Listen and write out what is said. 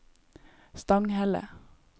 Stanghelle